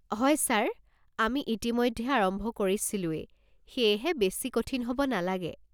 হয় ছাৰ, আমি ইতিমধ্যে আৰম্ভ কৰিছিলোয়েই, সেয়েহে বেছি কঠিন হ'ব নালাগে।